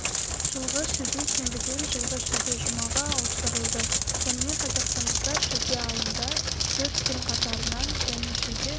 жылғы шілде сенбіден жылғы шілде жұмаға ауыстырылды сонымен қазақстандықтар шілде айында төрт күн қатарынан және шілде